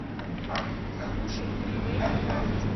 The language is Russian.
суши фривей на карте